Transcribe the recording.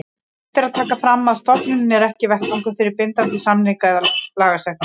Vert er að taka fram að stofnunin er ekki vettvangur fyrir bindandi samninga eða lagasetningu.